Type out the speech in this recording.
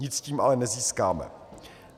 Nic tím ale nezískáme.